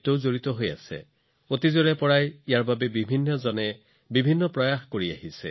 বহু শতাব্দী ধৰি বিভিন্ন সমাজ বিভিন্ন প্ৰচেষ্টা নিৰন্তৰভাৱে কৰা হৈছে